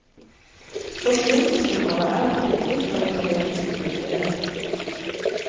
Forsvinningsnummeret er pinlig for italienske myndigheter.